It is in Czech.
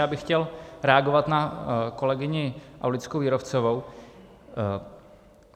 Já bych chtěl reagovat na kolegyni Aulickou Jírovcovou.